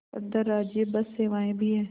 अंतर्राज्यीय बस सेवाएँ भी हैं